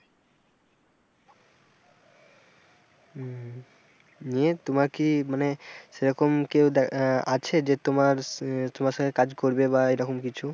নিয়ে তোমার কি মানে সেরকম কেউ আহ আছে যে তোমার তোমার সঙ্গে কাজ করবে বা এরকম কিছু?